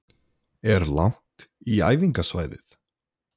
Er langt í æfingasvæðið?